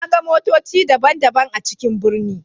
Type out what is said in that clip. Na ga motoci daban-daban a cikin birni.